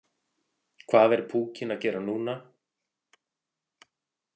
Hvað er púkinn að gera núna?